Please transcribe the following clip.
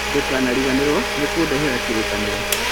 Ndũkariganĩrwo nĩ kũndehera kĩrĩkanĩro